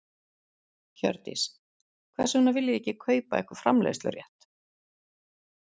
Hjördís: Hvers vegna viljið þið ekki kaupa ykkur framleiðslurétt?